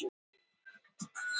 Hátíðinni var lokið.